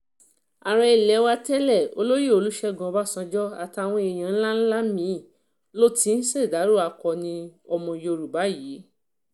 ààrẹ ilé wa tẹ́lẹ̀ olóyè olùṣègùn ọbànjọ́ àtàwọn èèyàn ńlá ńlá mí-ín ló ti ń ṣèdàrọ akọni ọmọ yorùbá yìí